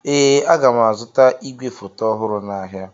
Ee, aga m azụta igwefoto ọhụrụ n'ahịa.